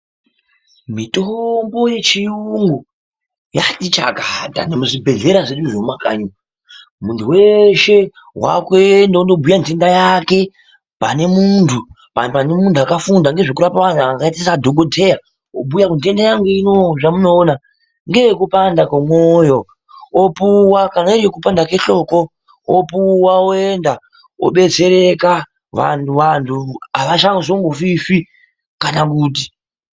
Mitombo yechiyungu yatichakata nemuzvibhedhlera zvedu zvemumakanyi. Muntu weshe wakuenda wondobhuya nhenda yake pane muntu akafunda nezvekurapa vantu akaita sadhogodheya, obhuya kuti nhenda yangu ino zvamunoona ngeyekupanda kwemoyo, opuwa kana iriyekupanda kwehloko, opuwa oenda odetsereka vantu havachambozofishi kana kuti.